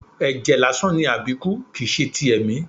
Ẹjẹ lásán ni Abiku, kìí ṣe ti ẹ̀mí.